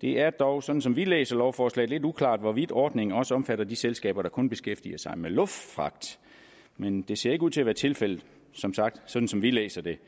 det er dog sådan som vi læser lovforslaget lidt uklart hvorvidt ordningen også omfatter de selskaber der kun beskæftiger sig med luftfragt men det ser ikke ud til at være tilfældet sådan som vi læser det